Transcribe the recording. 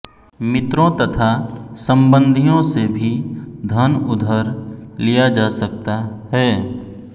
मित्रों तथा संबंधियों से भी धन उधर लिया जा सकता है